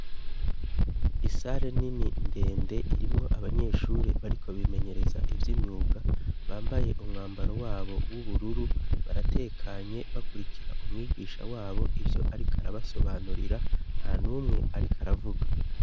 isare nini ndende irimwo abanyeshuri bariko bimenyereza ivy' imyuga bambaye umwambaro wabo w'ubururu baratekanye bakurikira umwigisha wabo ivyo ariko arabasobanurira ntanumwe ariko aravuga